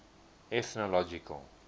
ethnological